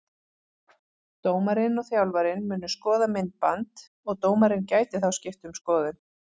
Dómarinn og þjálfarinn munu skoða myndband og dómarinn gæti þá skipt um skoðun.